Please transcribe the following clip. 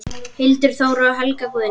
Hildur Þóra og Helga Guðný.